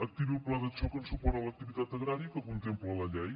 activi el pla de xoc en suport a l’activitat agrària que contempla la llei